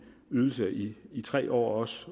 ydelse i i tre år og også